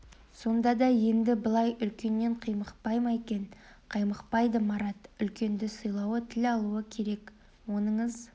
сонда да енді былай үлкеннен қаймықпай ма екен қаймықпайды марат үлкенді сыйлауы тіл алуы керек оныңыз